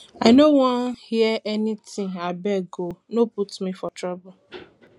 i no um wan um hear anything abeg um no put me for trouble